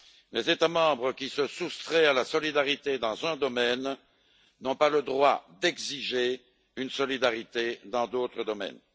Les États membres qui se soustraient à la solidarité dans un domaine n'ont pas le droit d'exiger une solidarité dans d'autres domaines.